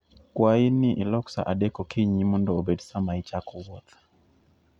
Kwayi ni ilok sa 3:00 okinyi mondo obed sa ma ichako wuoth.